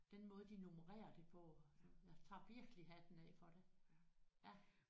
Den måde de nummererer det på og jeg tager virkelig hatten af for det ja